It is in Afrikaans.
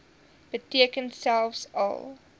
beteken selfs al